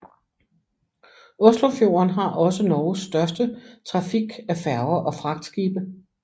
Oslofjorden har også Norges største trafik af færger og fragtskibe